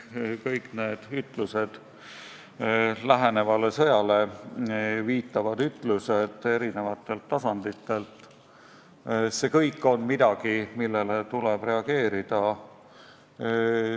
Kõik need lähenevale sõjale viitavad ütlused eri tasanditelt on midagi, millele tuleb reageerida.